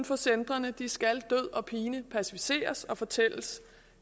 for centrene de skal død og pine passiviseres og fortælles